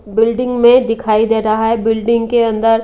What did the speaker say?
building में दिखाई दे रहा है बिल्डिंग के अंदर--